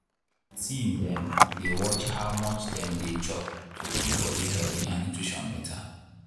teen dem dey watch how much dem dey chop to keep body healthy and nutrition better.